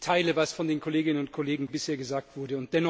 Ich teile, was von den Kolleginnen und Kollegen bisher gesagt wurde.